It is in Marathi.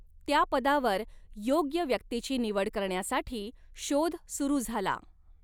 त्या पदावर योग्य व्यक्तीची निवड करण्यासाठी शोध सुरु झाला.